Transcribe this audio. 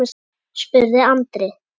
spurði Andri.